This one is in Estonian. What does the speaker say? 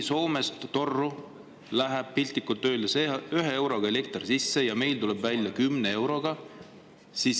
Soomest läheb torru piltlikult öeldes 1-eurone elekter sisse ja meil tuleb välja hinnaga 10 eurot.